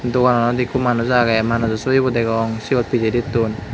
dogananot ikko manuj agey manujo sobibo degong siot pijeditun.